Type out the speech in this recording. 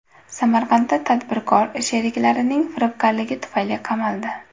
Samarqandda tadbirkor sheriklarining firibgarligi tufayli qamaldi.